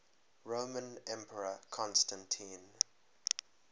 roman emperor constantine